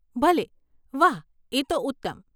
ભલે, વાહ એ તો ઉત્તમ.